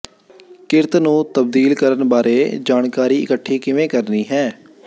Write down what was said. ਕਿਰਤ ਨੂੰ ਤਬਦੀਲ ਕਰਨ ਬਾਰੇ ਜਾਣਕਾਰੀ ਇਕੱਠੀ ਕਿਵੇਂ ਕਰਨੀ ਹੈ